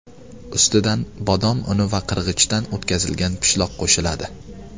Ustidan bodom uni va qirg‘ichdan o‘tkazilgan pishloq qo‘shiladi.